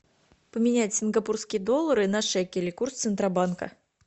поменять сингапурские доллары на шекели курс центробанка